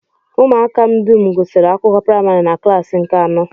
Ụmụaka m dum gụsiri akwụkwọ praịmarị na klaasị nke anọ